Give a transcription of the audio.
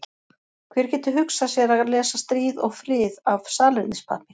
Hver getur hugsað sér að lesa Stríð og frið af salernispappír?